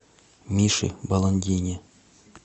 мише баландине